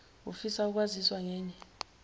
ufisa ukwaziswa ngenye